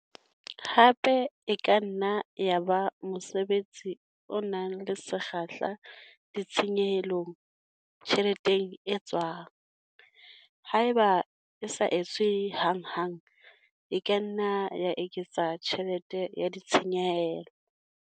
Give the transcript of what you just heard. Hape e ka nna ya ba mosebetsi o nang le sekgahla ditshenyehelong, tjheleteng e tswang. Haeba e sa etswe hanghang e ka nna ya eketsa tjhelete ya ditshenyehelo.